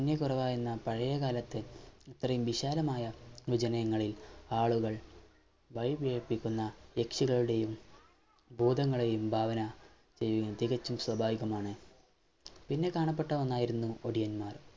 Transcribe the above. കുറവായിരുന്ന പഴയ കാലത്തെ ഇത്തരെയും വിശാലമായ ങ്ങളിൽ ആളുകൾ വഴിപിഴപ്പിക്കുന്ന യക്ഷികളുടെയും ഭൂതങ്ങളുടെയും ഭാവന എങ്ങും തികച്ചും സ്വാഭാവികമാണ് പിന്നെക്കാണാപ്പെട്ട ഒന്നായിരുന്നു ഓടിയന്മാർ